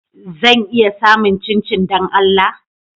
Zan iya samun chinchin don Allah?